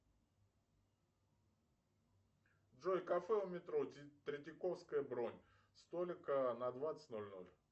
джой кафе у метро третьяковская бронь столик на двадцать ноль ноль